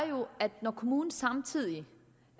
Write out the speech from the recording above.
jo at når kommunen samtidig